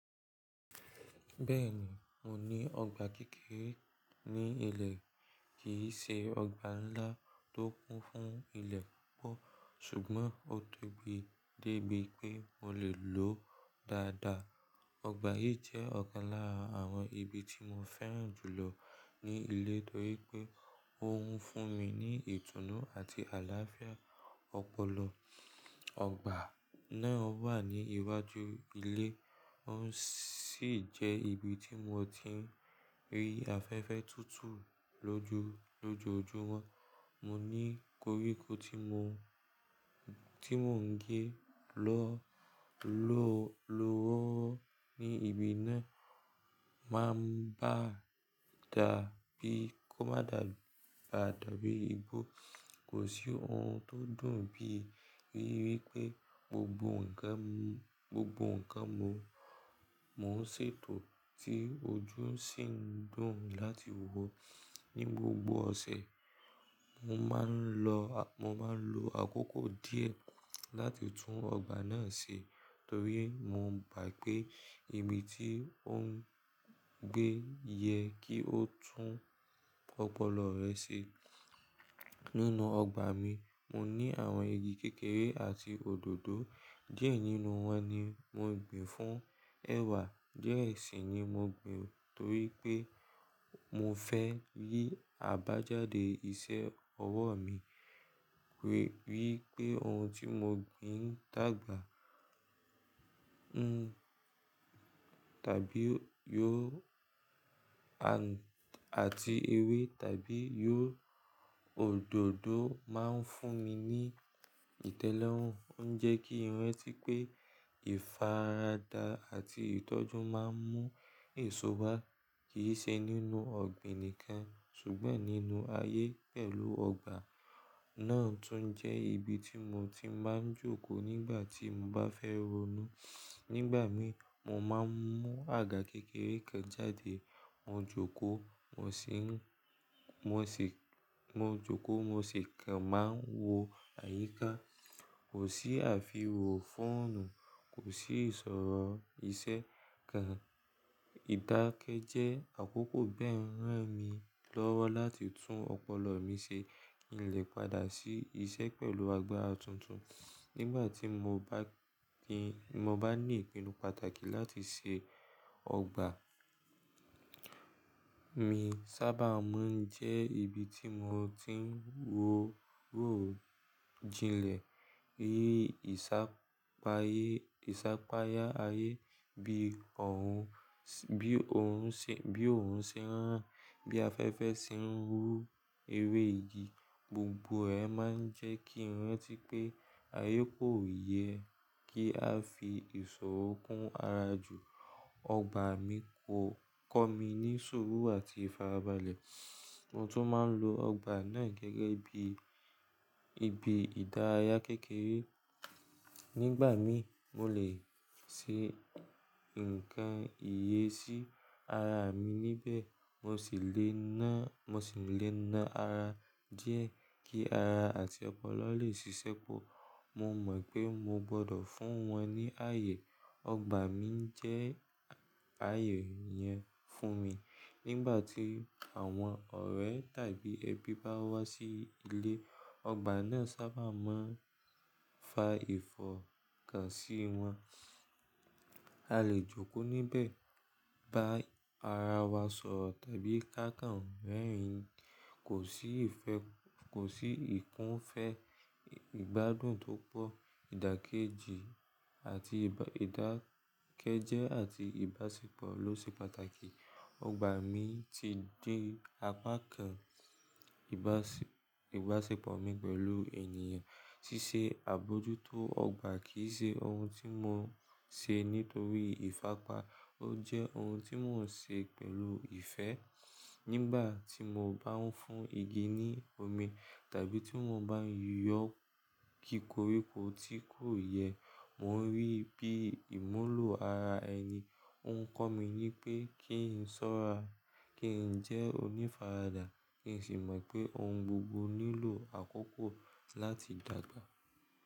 Bẹ́ẹ̀ni, mo ní ọgbà kékeré ní ilẹ̀, kì í ṣe ọgbà ńlá tó kún fún ilẹ̀ púpọ̀, ṣùgbọ́n ó tóbi débi pé mo lè lòó dáadáa. Ọgbà yìí jẹ́ ọ̀kan lára àwọn ibi tí mo fẹ́ràn jù lọ ní ilé torí pé ó ń fún mi ní ìtùnú àti àlàáfíà. Ọpọlọ ọgbà náà wà ní iwájú ilé, ó ń sì jẹ́ ibi tí mo ti ń rí afẹ́fẹ́ tútù lójoojúmọ́. Mo ní koríko tí mò ń gé lọ́ lọ́wọ́wọ́ ní ibi náà, máa ń bá dàbí kó má dàbí igbó. Kò sí ohun tó dùn bí ríi wípé gbogbo nnkan gbogbo nǹkan mo ń ṣètò ti ojú ń sì ń dùn láti wọ̀. Ni gbogbo ọ̀sẹ̀, mo maa n lo ah mo máa ń lo àkókò díẹ̀ láti tún ọgbà náà ṣe torí mo gbà pé ìbi tí ó ń gbé yẹ kí ó tún ọpọlọ rẹ̀ ṣe. Nínú ọgbà mi, mo ní àwọn igi kékeré àti òdòdó. Diẹ nínú wọn ni mo gbin fún ẹ̀wà, diẹ ẹ sì ni mo gbin torí pé mo fẹ́ rí àbájáde iṣẹ́ ọwọ́ mi rí wi pé ohun tí mo gbin n dàgbà. Tàbí yóò àti ewé tàbí yóò òdòdó máa ń fún mi ní ìtẹ́lọ́rùn. Ó ń jẹ́ kí n ìrantí pé ìfaradà àti ìtọ́jú máa ń mú èso bá kì í ṣe nínú ọ̀gbìn nìkan ṣùgbọ́n nínú ayé pẹ̀lú ọgbà náà tún jẹ́ ibi tí mo ti máa ń jókòó nígbà tí mo bá fẹ́ ronú. Nígbà mi, mo máa ń mú àga kékeré kan jáde, mo joko mo jókòó, mo sì kàn máa wo àyíká. Kò sí àfihàn fóònù, kò sí ìṣòro iṣẹ́ kan. Ídákẹ́jẹ́ àkókò bẹ́ẹ̀ ń ran mi lọ́wọ́ láti tún ọpọlọ mi ṣe. Ki n le padà sí iṣẹ́ pẹ̀lú àgbára tuntun. Nígbà tí mo bá ní ìpinnu pàtàkì láti ṣe ọgbà mi sábà máa ń jẹ́ ibi tí mo ti ń wo wò jinlẹ̀. Rí ìsàpayá ayé bi orun bí oorun ṣe ń ràn, bí afẹ́fẹ́ ṣe ń rú ewé igi, gbogbo ẹ máa ń jẹ́ kí n rantí pé ayé kò yẹ kí a fi ìṣòro kún ara jù. Ọgbà mi kò kọ́ mi ní ṣuru àti ìfarabalẹ̀. Mo tún máa ń lo ọgbà náà gẹ́gẹ́ bí ibi ìdárayá kékeré. Nígbà mi, mo lè ṣe nǹkan iye sí ara mi níbẹ̀, mo sì lè ná mo si na ara díẹ̀ kí ara àti ọpọlọ lè ṣiṣẹ́ pọ̀. Mo mọ̀ pé mo gbọdọ̀ fún wọn ní ààyè, ọgbà mi jẹ́ ààyè yẹn fún mi. Nígbà tí àwọn ọ̀rẹ́ tàbí ẹbí bá wá sí ilé, ọgbà náà sábà máa ń fa ìfọ̀kàn sí wọn. A lè jókòó níbẹ̀, bá ara wa sọ̀rọ̀ tàbí káàkàn rẹ́rìn-ín. Kosi ife Kò sí ìkúnfẹ́, ìgbádùn tó pọ̀, ìdákẹ́jẹ́ àti ìbáṣepọ̀ ló ṣe pàtàkì. Ọgbà mi ti di apá kan ìbáṣepọ̀ mi pẹ̀lú ènìyàn. Ṣíṣe àbójútó ọgbà kì í ṣe ohun tí mò ń ṣe nítorí ìfápa, ó jẹ́ ohun tí mò ń ṣe pẹ̀lú ìfẹ́. Nígbà tí mo bá ń fún igi ní omi tàbí tí mo bá yọ kíkoro tí kò yẹ, mò ń rí i bí ìmúlò ara ẹni. Ó ń kọ́ mi ní pé kí n sọ́ra, kí n jẹ́ onífaradà, kí n sì mọ̀ pé ohun gbogbo nílò àkókò láti dàgbà.